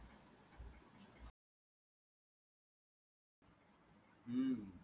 हम्म